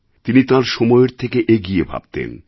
তিনি তাঁর সময়ের থেকে এগিয়ে ভাবতেন